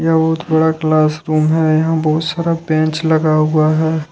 यह बहुत बड़ा क्लासरूम है यहां बहुत सारा बेंच लगा हुआ है।